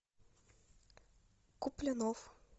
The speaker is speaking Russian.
куплинов